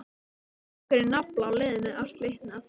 Strengurinn nafla á leiðinni að slitna.